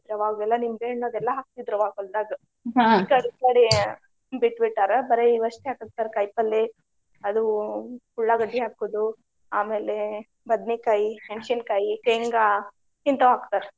ಅವಾಗೆಲ್ಲಾ ನಿಂಬೆಹಣ್ಣು ಅದೆಲ್ಲಾ ಹಾಕ್ತಿದ್ರ ಅವಾಗ್ ಹೊಲ್ದಾಗ ಈಕಡೆ ಬಿಟ್ಟ್ ಬಿಟ್ಟಾರ. ಬರೆ ಇವ್ ಅಷ್ಟೇ ಹಾಕಾಕತ್ತಾರ ಕಾಯಿಪಲ್ಲೆ ಅದು ಉಳ್ಳಾಗಡ್ಡಿ ಹಾಕುದು ಆಮೇಲೆ ಬದ್ನಿಕಾಯಿ, ಮೆಣಸಿನಕಾಯಿ, ಶೇಂಗಾ ಇಂತಾವ್ ಹಾಕ್ತಾರ.